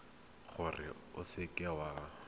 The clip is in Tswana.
gore o seka w a